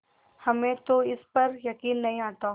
हमें तो इस पर यकीन नहीं आता